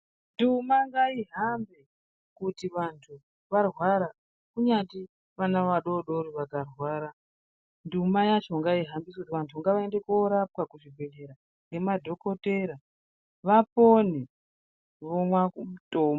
Nduma ngaihambe kuti vanthu varwara kunyati vana vadodori vakarwara nduma yacho ngaihambiswe kuti vanthu ngavaende koorapwa kuzvibhedhlera ngemadhokotera vapone vomwa mutombo.